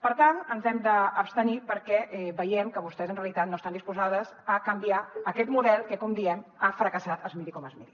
per tant ens hi hem d’abstenir perquè veiem que vostès en realitat no estan disposades a canviar aquest model que com diem ha fracassat es miri com es miri